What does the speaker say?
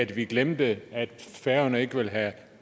vi glemte at færøerne ikke ville have